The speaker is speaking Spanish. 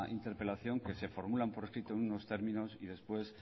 interpelación que se formulan por escrito en unos términos y después